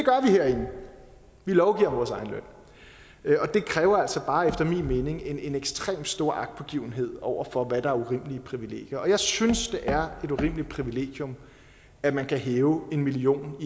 herinde vi lovgiver om vores egen løn men det kræver altså bare efter min mening en ekstremt stor agtpågivenhed over for hvad der er urimelige privilegier og jeg synes det er et urimeligt privilegium at man kan hæve en million